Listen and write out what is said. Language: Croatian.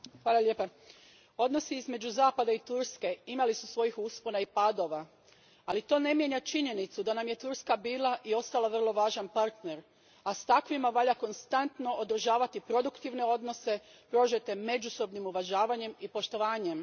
Gospodine predsjedniče, odnosi između Zapada i Turske imali su svojih uspona i padova, ali to ne mijenja činjenicu da nam je Turska bila i ostala vrlo važan partner, a s takvima valja konstantno održavati produktivne odnose prožete međusobnim uvažavanjem i poštovanjem.